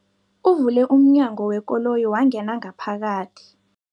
Uvule umnyango wekoloyi wangena ngaphakathi.